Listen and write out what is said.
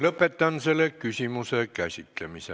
Lõpetan selle küsimuse käsitlemise.